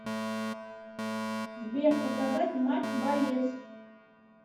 сбер показать матч боец